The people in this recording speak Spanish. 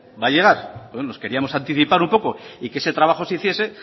va a llegar nos queríamos anticipar un poco y que ese trabajo se hiciese